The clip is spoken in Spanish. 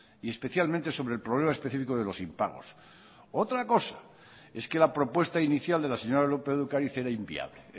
y especialmente sobre el problema específico de los impagos otra cosa es que la propuesta inicial de la señora lópez de ocariz era inviable